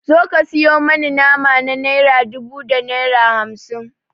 Zo ka sayo mani nama na naira dubu da naira hamsin.